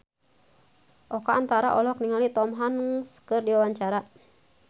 Oka Antara olohok ningali Tom Hanks keur diwawancara